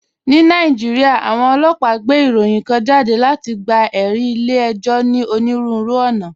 Ní Nàìjíríà, àwọn ọlọ́pàá gbé ìròyìn kan jáde láti gba ẹ̀rí ilé ẹjọ́ ní onírúurú ọ̀ràn.